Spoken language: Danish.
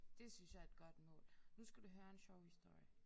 Det synes jeg er et godt mål. Nu skal du høre en sjov historie